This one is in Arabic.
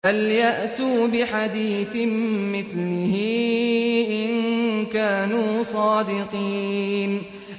فَلْيَأْتُوا بِحَدِيثٍ مِّثْلِهِ إِن كَانُوا صَادِقِينَ